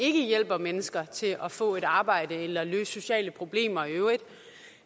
ikke hjælper mennesker til at få et arbejde eller løser sociale problemer i øvrigt